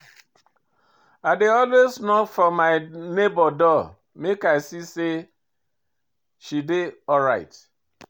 I dey always knock for my nebor door make I see sey she dey alright.